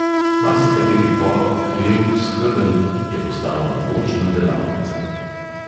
Marsikateri pod, hlev, skedenj je postal mogočna delavnica.